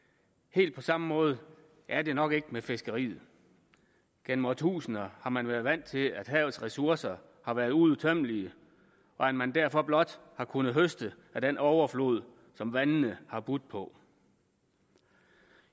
helt på samme måde er det nok ikke med fiskeriet gennem årtusinder har man været vant til at havets ressourcer har været uudtømmelige og at man derfor blot har kunnet høste af den overflod som vandene har budt på